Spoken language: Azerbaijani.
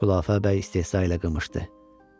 Xülafə bəy istehza ilə qımışdı.